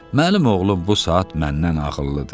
Mənim oğlum bu saat məndən ağıllıdır.